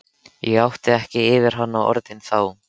Ég átti ekki yfir hana orðin þá.